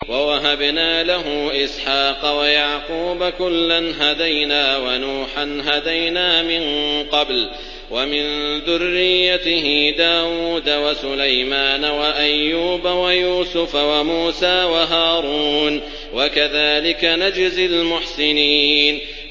وَوَهَبْنَا لَهُ إِسْحَاقَ وَيَعْقُوبَ ۚ كُلًّا هَدَيْنَا ۚ وَنُوحًا هَدَيْنَا مِن قَبْلُ ۖ وَمِن ذُرِّيَّتِهِ دَاوُودَ وَسُلَيْمَانَ وَأَيُّوبَ وَيُوسُفَ وَمُوسَىٰ وَهَارُونَ ۚ وَكَذَٰلِكَ نَجْزِي الْمُحْسِنِينَ